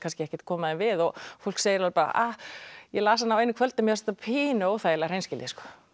ekkert koma því við fólk segir bara ég las hana á einu kvöldi mér fannst þetta pínu óþægilega hreinskilnislegt